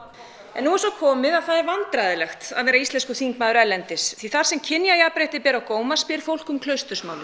en nú er svo komið að það er vandræðalegt að vera íslenskur þingmaður erlendis því þar sem kynjajafnrétti ber á góma spyr fólk um